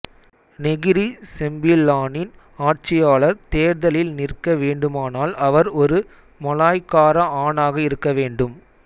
Negeri செம்பிலானின் ஆட்சியாளர் தேர்தலில் நிற்க வேண்டுமானால் அவர் ஒரு மலாய்க்கார ஆணாக இருக்க வேண்டும்